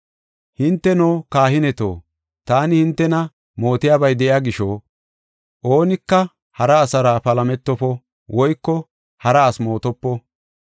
Hinteno, kahineto, taani hintena mootiyabay de7iya gisho, oonika hara asara palametofo; woyko hara asi mootopo.